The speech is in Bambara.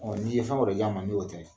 Ɔ n'i ye fɛn wɛrɛ di an ma ni o tɛ